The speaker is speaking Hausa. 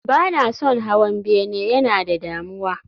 Ba na son hawan bene, yana da damuwa